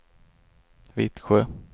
Vittsjö